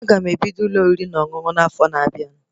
Aga m ebido Ụlọ oriri na ọṅụṅụ n'afo na-abịa